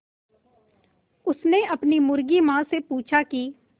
उसने अपनी मुर्गी माँ से पूछा की